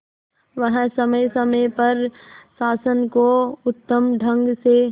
वह समय समय पर शासन को उत्तम ढंग से